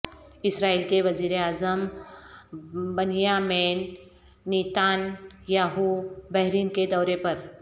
اسرائیل کے وزیر اعظم بنیامین نیتان یاہو بحرین کے دورے پر